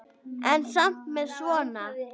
En samt með svona.